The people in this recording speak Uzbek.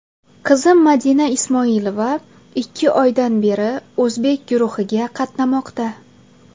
Qizim Madina Ismoilova ikki oydan beri o‘zbek guruhiga qatnamoqda.